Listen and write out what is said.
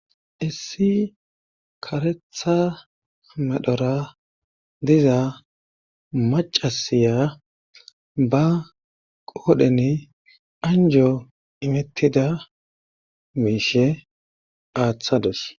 Issi karetha medhora diza macasiya ba qoodheni anjo imettida miishe aaththados.